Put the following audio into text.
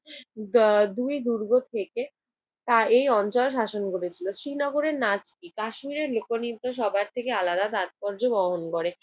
দা~ দুই দুর্গ থেকে তারা এই অঞ্চল শাসন করেছিল। শ্রীনগরের নাচ কি? কাশ্মীরের লোকনৃত্য সবার থেকে আলাদা তাৎপর্য বহন করে।